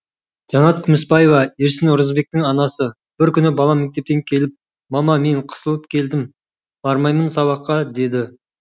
жанат күмісбаева ерсін оразбектің анасы бір күні балам мектептен келіп мама мен қысылып келдім бармаймын сабаққа деді